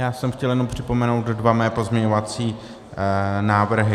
Já jsem chtěl jenom připomenout své dva pozměňovací návrhy.